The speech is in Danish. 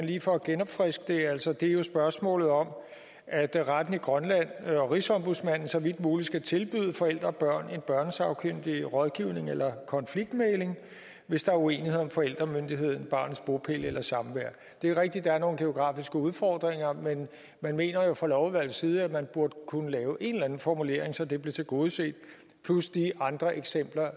lige for at genopfriske det altså det er jo spørgsmålet om at retten i grønland og rigsombudsmanden så vidt muligt skal tilbyde forældre og børn en børnesagkyndig rådgivning eller konfliktmægling hvis der er uenighed om forældremyndighed barnets bopæl eller samvær det er rigtigt at der er nogle geografiske udfordringer men de mener jo fra lovudvalgets side at man burde kunne lave en eller anden formulering så det blev tilgodeset plus de andre eksempler